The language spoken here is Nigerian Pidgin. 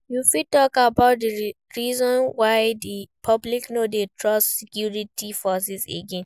You fit talk about di reasons why di public no dey trust security forces again.